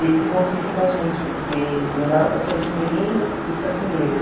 Ele ficou um tempo com a gente, porque não dava para sair de Ermelino e ir para Pinheiros.